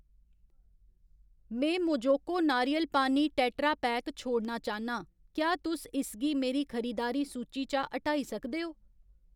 में मोजोको नारियल पानी टेट्रापैक छोड़ना चाह्न्नां, क्या तुस इसगी मेरी खरीदारी सूची चा हटाई सकदे ओ ?